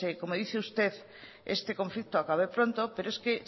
como dice usted este conflicto acabe pronto pero es que